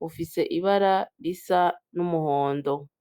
bufise ibara risa n'umuhondo.